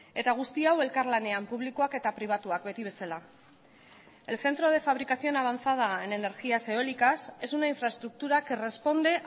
eta guzti hau elkarlanean publikoak eta pribatuak beti bezala el centro de fabricación avanzada en energías eólicas es una infraestructura que responde